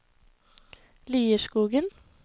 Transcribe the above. Lierskogen